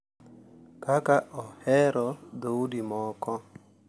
Kaka ohero dhoudi moko.